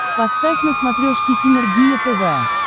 поставь на смотрешке синергия тв